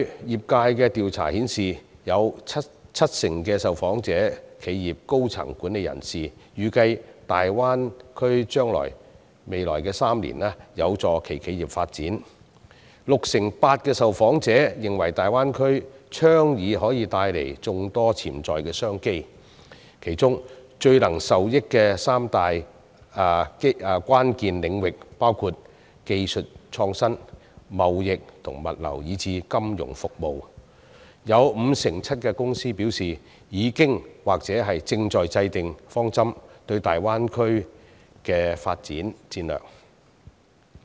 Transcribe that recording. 業界的調查顯示，有七成受訪企業的高層管理人士預計大灣區將在未來3年有助其企業發展 ；68% 受訪者認為大灣區的倡議可帶來眾多潛在商機，其中最能受益的三大關鍵領域包括技術創新、貿易及物流以至金融服務；有 57% 受訪公司則表示已經或正在制訂大灣區的發展戰略、方針。